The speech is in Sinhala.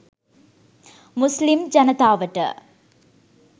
මුස්ලිම් ජනතාවට.